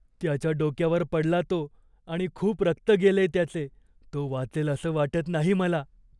त्याच्या डोक्यावर पडला तो आणि खूप रक्त गेलेय त्याचे. तो वाचेल असं वाटत नाही मला.